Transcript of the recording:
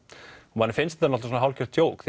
manni finnst þetta hálfgert djók